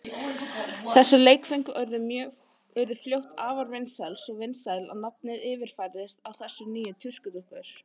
Þessi leikföng urðu fljótt afar vinsæl, svo vinsæl að nafnið yfirfærðist á þessar nýju tuskudúkkur.